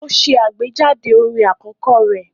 Ó ṣe àgbéjáde orin àkọ́kọ́ rẹ̀